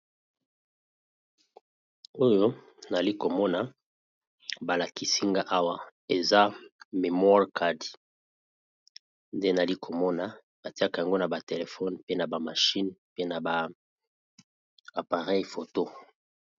Oyo nazali komona liboso na ngayi ezali bongo oyo babengi na anglais, memory card. Bakotisaka yango na telephone, na machine oto na appareil photo.